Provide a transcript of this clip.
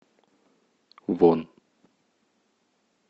вон